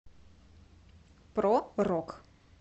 про рок